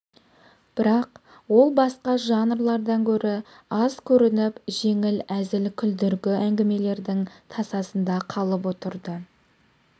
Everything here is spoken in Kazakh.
бірақ ол басқа жанрлардан гөрі аз көрініп жеңіл әзіл күлдіргі әңгімелердің тасасында қалып отырды